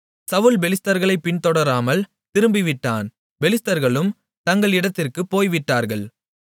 சவுல் பெலிஸ்தர்களை பின்தொடராமல் திரும்பிவிட்டான் பெலிஸ்தர்களும் தங்கள் இடத்திற்குப் போய்விட்டார்கள்